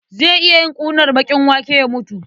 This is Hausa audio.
Zai iya yin ƙunar baƙin wake ya mutu.